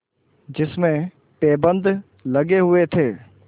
जिसमें पैबंद लगे हुए थे